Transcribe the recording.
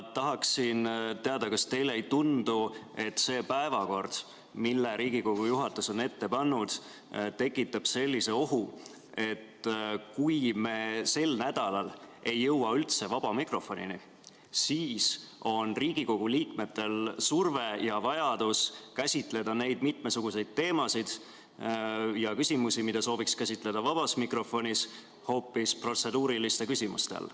Tahaksin teada, kas teile ei tundu, et see päevakord, mille Riigikogu juhatus on ette pannud, tekitab sellise ohu, et kui me sel nädalal ei jõua üldse vaba mikrofonini, siis peavad Riigikogu liikmed käsitlema neid mitmesuguseid teemasid ja küsimusi, mida nad sooviks käsitleda vabas mikrofonis, hoopis protseduuriliste küsimuste ajal.